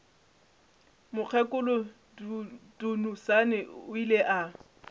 mokgekolo dunusani o ile a